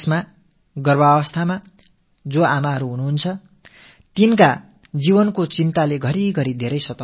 நம் நாட்டில் இருக்கும் கர்ப்பிணித் தாய்மார்கள் உடல்நலம் சில வேளைகளில் மிகுந்த கவலையை ஏற்படுத்துகிறது